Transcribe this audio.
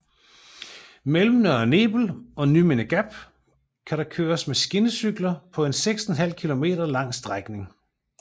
Mellem Nørre Nebel og Nymindegab kan der køres med skinnecykler på en 6½ km lang strækning